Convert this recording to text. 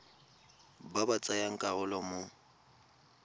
ba ba tsayang karolo mo